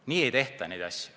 Nii ei tehta!